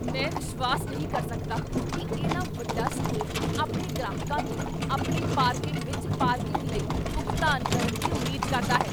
ਮੈਂ ਵਿਸ਼ਵਾਸ ਨਹੀਂ ਕਰ ਸਕਦਾ ਕੀ ਇੰਨਾ ਵੱਡਾ ਸਟੋਰ ਆਪਣੇ ਗ੍ਰਾਹਕਾਂ ਤੋਂ ਆਪਣੀ ਪਾਰਕਿੰਗ ਵਿੱਚ ਪਾਰਕਿੰਗ ਲਈ ਭੁਗਤਾਨ ਕਰਨ ਦੀ ਉਮੀਦ ਕਰਦਾ ਹੈ!